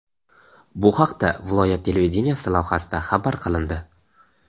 Bu haqda viloyat televideniyesi lavhasida xabar qilindi.